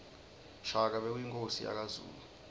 shaka bekuyinkhosi yakazulu